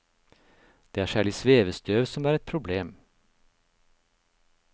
Det er særlig svevestøv som er et problem.